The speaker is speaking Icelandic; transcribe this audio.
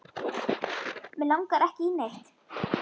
Mig langar ekki í neitt.